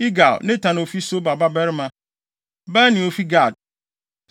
Igal, Natan a ofi Soba babarima; Bani a ofi Gad;